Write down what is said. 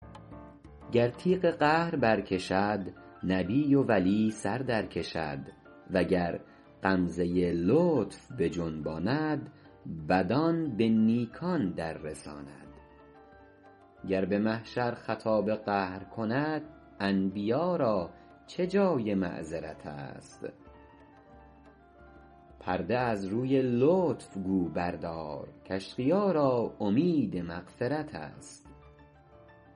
گر تیغ قهر بر کشد نبی و ولی سر در کشد وگر غمزه لطف بجنباند بدان به نیکان در رساند گر به محشر خطاب قهر کند انبیا را چه جای معذرت است پرده از روی لطف گو بردار کاشقیا را امید مغفرت است